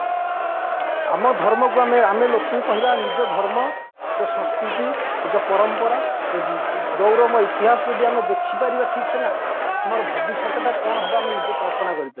ଆମ ଧର୍ମକୁ ଆମେ ଲୋକଙ୍କୁ ଲୋକଙ୍କୁ କହିବା ନିଜ ଧର୍ମ ତ ସଂସ୍କୃତି ନିଜ ପରମ୍ପରା ଗୌରବ ଇତିହାସ ଯଦି ଦେଖିବା ଠିକସେ ନା ଆମର ଭବିଷ୍ୟତଟା କ'ଣ ହବ ଆମେ ନିଜେ କଳ୍ପନା କରିପାରିବି